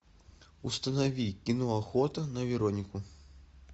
установи кино охота на веронику